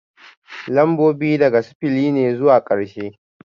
Lambobi daga sifili ne zuwa karshe